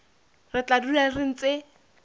re tla dula re ntse